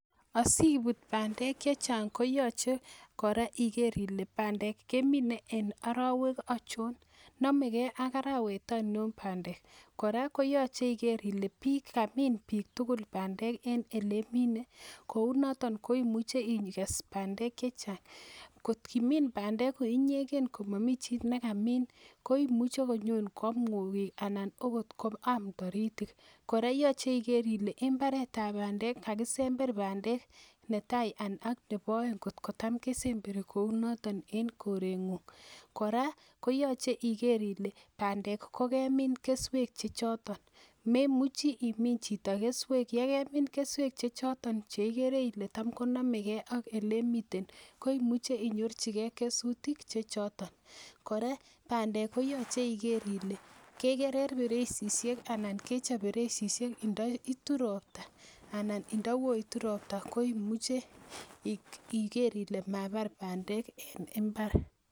Asibut bandek che chang koyochei kora ikere ile bandek keminei eng arowek achon nimeke ak arawet aino bandek kora koyoche ikere ile kamin biik bandek eng ele imine kou noton ko imuche ikes bandek che chang kot kimin bandek ko inyekee komamii chii nekamin ko imuchei konyokoam ng'okik anan okot koam toritik kora yochei iker ile imbaret ap bandek kakisember bandek netai ak nebo oeng kotko tam kesemberi kou noton en korengung kora koyochei iker ile bandek kokemin keswek che choton memuchi imin chito keswek yekemin keswek che choton chekere ile tam konomekee ak ele imiten ko imuche inyorchikee kesutik che choton kora bandek koyochei iker ile kekerer pirechishek anan kechop birechishek ndaitu ropta nda koyoitu ropta koimuche ikere ile mabar bandek eng mbar.